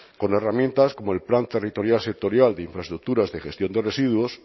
con herramientas como el plan territorial sectorial de infraestructuras de gestión de residuos